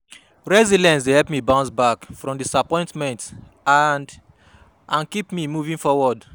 Resilience dey help me bounce back from disappointment and and keep moving forward.